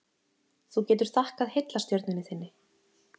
Þú getur þakkað heillastjörnunni þinni.